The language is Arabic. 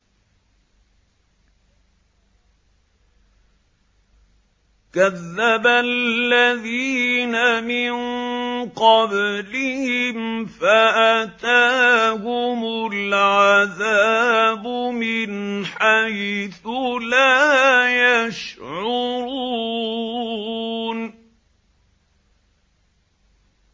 كَذَّبَ الَّذِينَ مِن قَبْلِهِمْ فَأَتَاهُمُ الْعَذَابُ مِنْ حَيْثُ لَا يَشْعُرُونَ